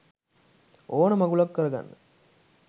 ඕන මගුලක් කරගන්න